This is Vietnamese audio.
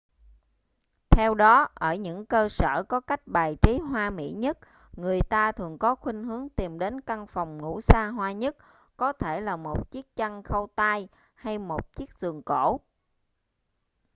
theo đó ở những cơ sở có cách bài trí hoa mỹ nhất người ta thường có khuynh hướng tìm đến căn phòng ngủ xa hoa nhất có thể là một chiếc chăn khâu tay hay một chiếc giường cổ